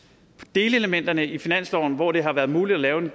delelementerne i finansloven hvor det har været muligt at lave